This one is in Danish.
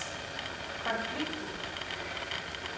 konflikten